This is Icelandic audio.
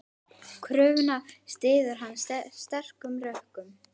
Kröfuna styður hann sterkum rökum.